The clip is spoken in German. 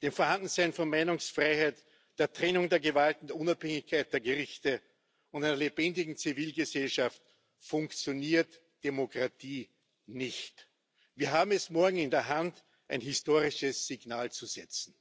des Vorhandenseins von Meinungsfreiheit, der Trennung der Gewalten, der Unabhängigkeit der Gerichte und einer lebendigen Zivilgesellschaft funktioniert Demokratie nicht. Wir haben es morgen in der Hand, ein historisches Signal zu setzen.